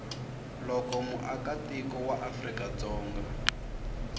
loko muakatiko wa afrika dzonga